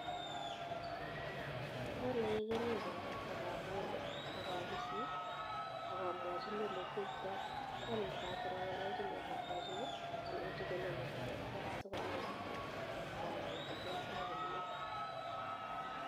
Apalee keringanik akakolee ak apisii akamwachinii olekiaitaii atya ndakatar angalalchinii akamwachinii alechii konyoo keaii tuwaii sikonaii akonam ole kiaitaii komiee